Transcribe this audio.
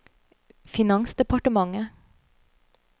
finansdepartementet